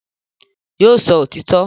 Yóò sọ òtítọ́